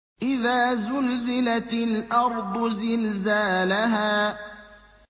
إِذَا زُلْزِلَتِ الْأَرْضُ زِلْزَالَهَا